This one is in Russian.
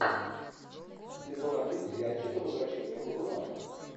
сезон один сериальчика возвращение будулая